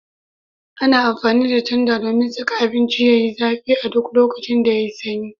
Ana amfani da tanda domin saka abinci Yayi zafi a duk lokacin da yayi sanyi